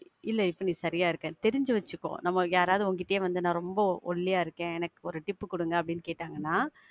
இல்ல நீ இப்ப சரியா இருக்க. தெரிஞ்சி வச்சிக்கோ. நாம யாரவது உன்கிட்டயே வந்து நான் ரொம்ப ஒல்லியா இருக்கேன், எனக்கு ஒரு tip பு குடுங்க, அப்படின்னு கேட்டங்கனா,